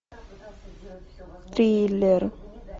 триллер